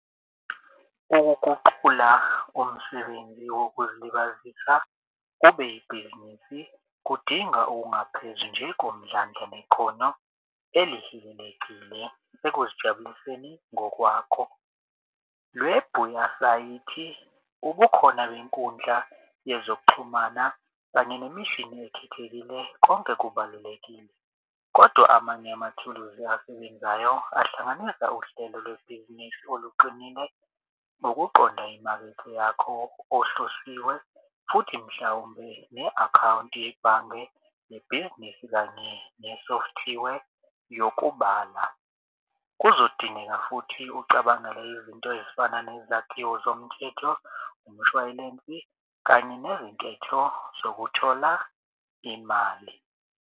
Ukuguqula umsebenzi wokuzilibazisa kube ibhizinisi kudinga ungaphezi njengomdlange nekhono elihilelekile ekuzijabuliseni ngokwako. Ubukhona benkundla yezokuxhumana kanye nemishini ekhethekile konke kubalulekile kodwa amanye amathuluzi asebenzayo ahlanganisa uhlelo lwebhizinisi oluqinile ngokuqonda imakethe yakho ohlosiwe, futhi mhlawumbe ne-akhawunti yebhange nebhizinisi kanye ne-software yokubala. Kuzodingeka futhi ucabangele izinto ezifana nezakhiwo zomthetho, umshwayilensi, kanye nezinketho zokuthola imali.